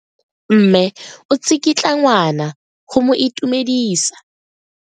Mme o tsikitla ngwana go mo itumedisa.